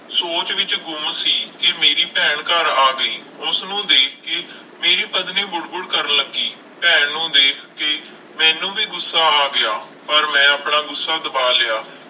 ਸੋਚ ਵਿੱਚ ਗੁੰਮ ਸੀ ਕਿ ਮੇਰੀ ਭੈਣ ਘਰ ਆ ਗਈ, ਉਸਨੂੰ ਦੇਖ ਕੇ ਮੇਰੀ ਪਤਨੀ ਬੁੜਬੁੜ ਕਰਨ ਲੱਗੀ, ਭੈਣ ਨੂੰ ਦੇਖ ਕੇ ਮੈਨੂੰ ਵੀ ਗੁੱਸਾ ਆ ਗਿਆ, ਪਰ ਮੈਂ ਆਪਣਾ ਗੁੱਸਾ ਦਬਾ ਲਿਆ,